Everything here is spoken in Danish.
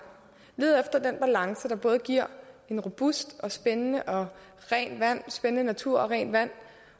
lede efter den balance der både giver en robust og spændende og spændende natur og rent vand